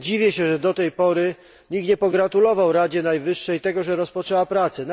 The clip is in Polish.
Dziwię się, że do tej pory nikt nie pogratulował Radzie Najwyższej tego, że rozpoczęła prace.